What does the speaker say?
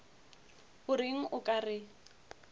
o reng o ka re